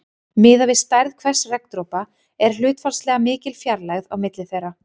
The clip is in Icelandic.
Miðað við stærð hvers regndropa er hlutfallslega mikil fjarlægð á milli þeirra.